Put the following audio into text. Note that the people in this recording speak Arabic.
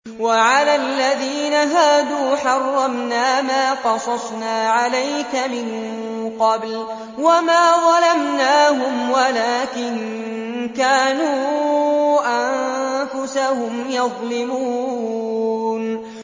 وَعَلَى الَّذِينَ هَادُوا حَرَّمْنَا مَا قَصَصْنَا عَلَيْكَ مِن قَبْلُ ۖ وَمَا ظَلَمْنَاهُمْ وَلَٰكِن كَانُوا أَنفُسَهُمْ يَظْلِمُونَ